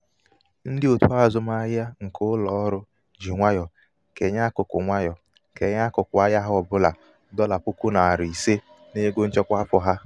ndị òtù azụmahịa nke ụlọ ọrụ ji nwayọ kenye ákụkụ nwayọ kenye ákụkụ ahịa ha ọ bụla dọla puku narị ise n'ego nchekwa afọ ha.